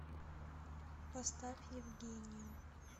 поставь евгению